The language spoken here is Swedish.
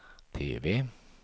TV